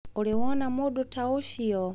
Ũrĩ wona mũndũ ta ũcio?